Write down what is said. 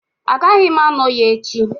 Agaghị m anọ ya echi